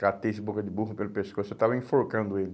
Catei esse boca de burro pelo pescoço, eu estava enforcando ele.